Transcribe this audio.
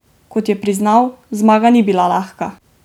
Kot je priznal, zmaga ni bila lahka.